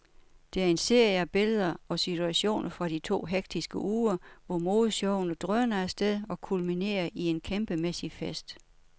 Det er en serie af billeder og situationer fra de to hektiske uger, hvor modeshowene drøner afsted og kulminerer i en kæmpemæssig fest.